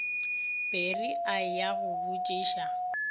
pere a ya go botšiša